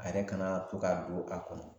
A yɛrɛ kana to ka don a kɔnɔ